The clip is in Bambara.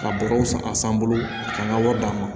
Ka bɔrɔ san a san bolo k'an ka wari d'an ma